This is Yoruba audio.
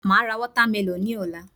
Màá ra watermelon ní òla